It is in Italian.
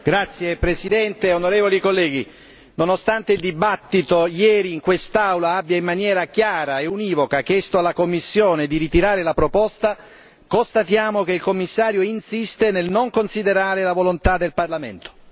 Signora Presidente, onorevoli colleghi, nonostante il dibattito ieri in quest'Aula abbia in maniera chiara e univoca chiesto alla Commissione di ritirare la proposta, constatiamo che il Commissario insiste nel non considerare la volontà del Parlamento.